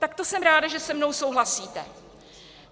Tak to jsem ráda, že se mnou souhlasíte.